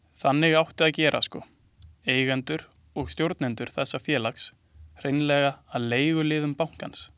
Þannig átti að gera sko, eigendur og stjórnendur þessa félags, hreinlega að leiguliðum bankans.